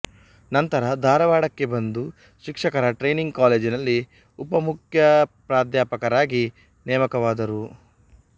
ನಂತರ ಧಾರವಾಡಕ್ಕೆ ಬಂದು ಶಿಕ್ಷಕರ ಟ್ರೇನಿಂಗ್ ಕಾಲೇಜಿನಲ್ಲಿ ಉಪಮುಖ್ಯಪ್ರಾಧ್ಯಾಪಕರಾಗಿ ನೇಮಕವಾದರು